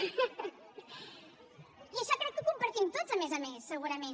i això crec que ho compartim tots a més a més segurament